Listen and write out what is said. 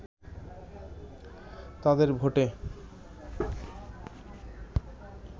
তাদের ভোটে